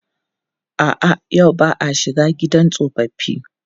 A'a, yau ba a shiga gidan tsofaffi.